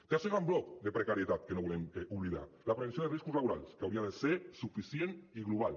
tercer gran bloc de precarietat que no volem oblidar la prevenció de riscos laborals que hauria de ser suficient i global